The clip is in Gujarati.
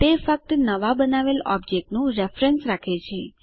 તે ફક્ત નવાં બનાવેલ ઓબજેક્ટનું રેફરેન્સ રાખે છે